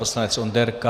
Poslanec Onderka.